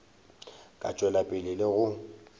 ka tšwela pele le go